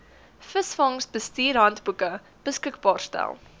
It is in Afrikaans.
visvangsbestuurshandboeke beskikbaar stel